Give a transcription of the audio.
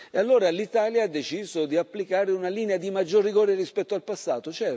E allora l'Italia ha deciso di applicare una linea di maggior rigore rispetto al passato.